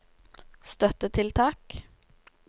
støttetiltak